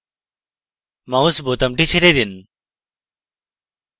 mouse বোতামটি ছেড়ে দিন